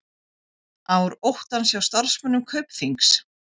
Ár óttans hjá starfsmönnum Kaupþings